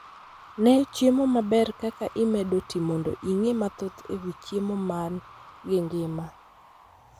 Nee chiemo maber kaka imedo tii mondo ing'ee mathoth e wii chiemo man gi ngima